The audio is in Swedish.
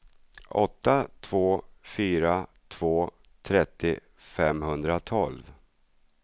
åtta två fyra två trettio femhundratolv